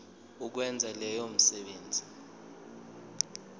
ukwenza leyo misebenzi